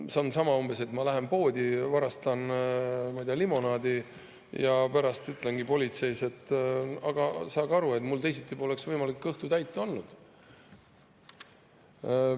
See on umbes sama, et ma lähen poodi, varastan limonaadi ja pärast ütlen politseis, et aga saage aru, mul teisiti poleks võimalik kõhtu täita olnud.